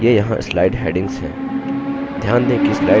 ये यहाँ slide headings हैं